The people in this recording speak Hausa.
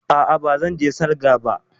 A'a, ba zan je salga ba